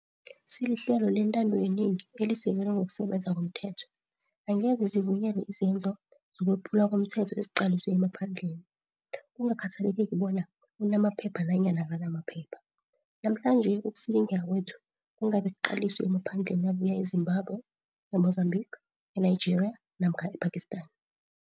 Silihlelo lentando yenengi elisekelwe ngokusebenza komthetho. Angeze zivunyelwe izenzo zokwephulwa komthetho eziqaliswe emaphandleni, kungakhathaleki bona unamaphepha nanyana akanamaphepha. Namhlanje ukusilingeka kwethu kungabe kuqaliswe emaphandleni abuya e-Zimbabwe, e-Mozambique, e-Nigeria namkha e-Pakistan.